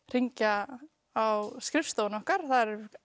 hringja á skrifstofu okkar þar er